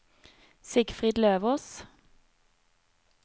Sigfrid Løvås